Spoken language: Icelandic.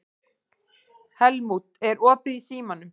Helmút, er opið í Símanum?